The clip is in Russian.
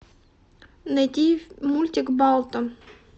найди мультик балто